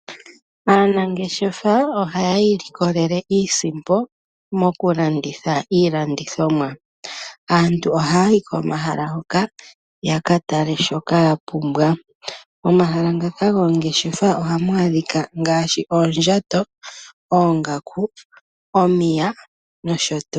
Aanangeshefa ohaya ilikolele iisimpo mokulanditha iilandithomwa. Aantu ohaya yi komahala ngoka ya katale shoka yapumbwa. Omahala ngaka goongeshefa ohamu adhika ngaashin oondjato, oongaku, omiya nosho tuu.